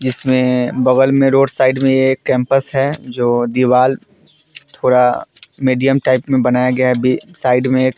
जिसमें बगल में रोड साइड में एक कैंपस है जो दीवाल थोड़ा मीडियम टाइप में बनाया गया है। अभी साइड एक --